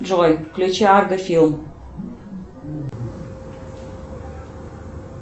джой включи арго филм